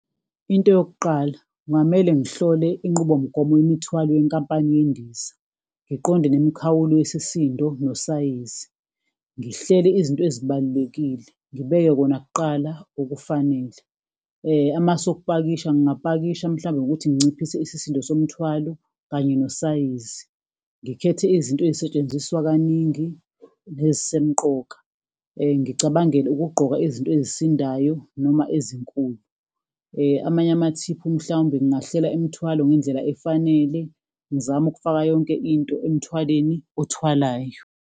Into yokuqala, kungamele ngihlole inqubomgomo yemithwalo yenkampani yendiza, ngiqonde nemikhawulo yesisindo nosayizi, ngihlele izinto ezibalulekile, ngibeke kona kuqala, okufanele. Amasu okupakisha, ngingapakisha mhlawumbe ngokuthi nginciphise isisindo nomthwalo kanye nosayizi. Ngikhethe izinto ey'setshenziswa kaningi nezisemqoka. Ngicabangele ukugqoka izinto ezisindayo noma ezinkulu. Amanye amathiphu mhlawumbe ngingahlela imithwalo ngendlela efanele, ngizame ukufaka yonke into emthwaleni othwalayo.